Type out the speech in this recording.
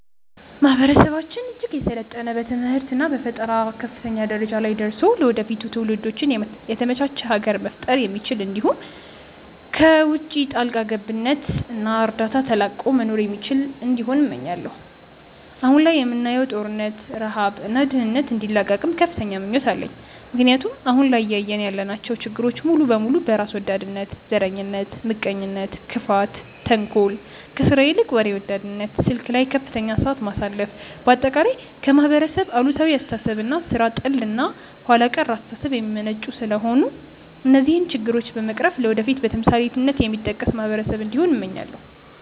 ማህበረሰባችን እጅግ የሰለጠነ በትምህርት እና በፈጠራ ከፍተኛ ደረጃ ላይ ደርሶ ለወደፊት ትውልዶች የተመቻች ሀገር መፍጠር የሚችል እንዲሁም ከውቺ ጣልቃ ገብነት እና እርዳታ ተላቆ መኖር የሚችል እንዲሆን እመኛለው። አሁን ላይ የምናየውን ጦርነት፣ ረሃብ እና ድህነት እንዲላቀቅም ከፍተኛ ምኞት አለኝ ምክንያቱም አሁን ላይ እያየን ያለናቸው ችግሮች ሙሉ በሙሉ በራስ ወዳድነት፣ ዘረኝነት፣ ምቀኝነት፣ ክፋት፣ ተንኮል፣ ከስራ ይልቅ ወሬ ወዳድነት፣ ስልክ ላይ ከፍተኛ ሰዓት ማሳለፍ፣ በአጠቃላይ ከማህበረሰብ አሉታዊ አስተሳሰብ እና ሥራ ጠል እና ኋላ ቀር አስተሳሰብ የሚመነጩ ስለሆነ እነዚህን ችግሮች በመቅረፍ ለወደፊት በተምሳሌትነት የሚጠቀስ ማህበረሰብ እንዲሆን እመኛለው።